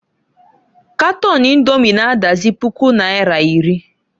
Katon Indomi na -adazi puku naira iri.